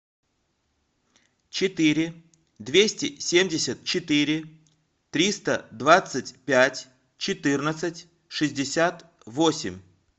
четыре двести семьдесят четыре триста двадцать пять четырнадцать шестьдесят восемь